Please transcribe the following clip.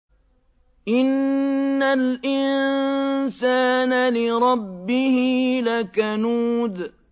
إِنَّ الْإِنسَانَ لِرَبِّهِ لَكَنُودٌ